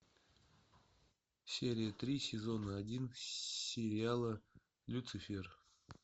серия три сезона один сериала люцифер